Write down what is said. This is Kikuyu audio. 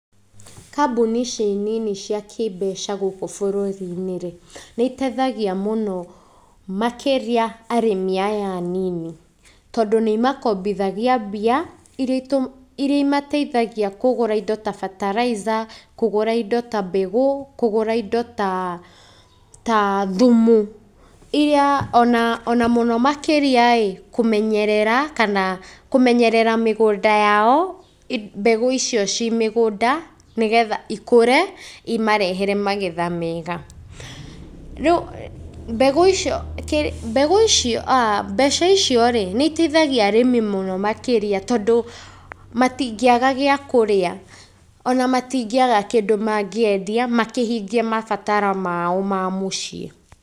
Kambũni ici nini cia kĩmbeca gũkũ bũrũri-inĩ, nĩiteithagia mũno makĩria arĩmi aya anini tondũ nĩimakombithagia mbia iria imateithagia kũgũra indo ta bataraitha, kũgũra indo ta mbegũ kũgũra indo ta thumu. iria ona mũno mũno makĩriaĩ kũmenyerere mĩgũnda yao mbegũ icio ci mĩgũnda, nĩgetha ikũre imarehere magetha mega. Rĩu mbegũ icio rĩu mbeca icio , nĩiteithagia arĩmi mũno makĩria tondũ matingĩaga gĩa kũrĩa ona matingĩaga kĩndũ mangĩendia makĩhingie mabataro mao mamũciĩ.